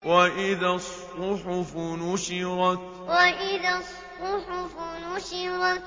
وَإِذَا الصُّحُفُ نُشِرَتْ وَإِذَا الصُّحُفُ نُشِرَتْ